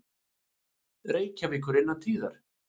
Reykjavíkur innan tíðar.